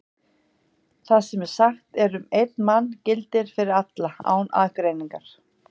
Það sem sagt er um einn mann gildir fyrir alla, án aðgreiningar.